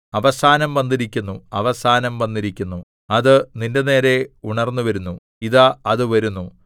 അവസാനം വന്നിരിക്കുന്നു അവസാനം വന്നിരിക്കുന്നു അത് നിന്റെനേരെ ഉണർന്നുവരുന്നു ഇതാ അത് വരുന്നു